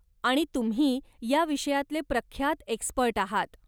आणि तुम्ही या विषयातले प्रख्यात एक्स्पर्ट आहात.